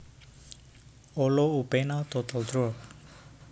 Olo upena total drop